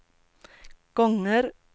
gånger